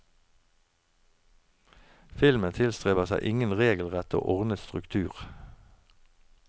Filmen tilstreber seg ingen regelrett og ordnet struktur.